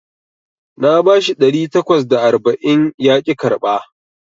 Na bashi ɗari takwas da tamanin yaƙi karɓa